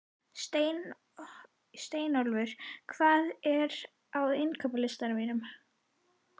Steinólfur, hvað er á innkaupalistanum mínum?